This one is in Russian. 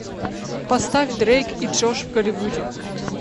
поставь дрейк и джош в голливуде